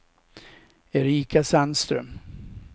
Erika Sandström